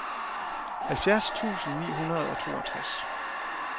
halvfjerds tusind ni hundrede og toogtres